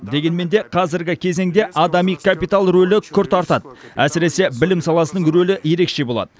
дегенмен де қазіргі кезеңде адами капитал рөлі күрт артады әсіресе білім саласының рөлі ерекше болады